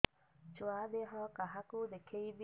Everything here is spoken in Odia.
ଛୁଆ ଦେହ କାହାକୁ ଦେଖେଇବି